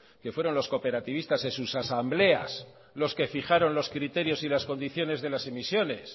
fueron los cooperativistas en sus asambleas los que fijaron los criterios y las condiciones de las emisiones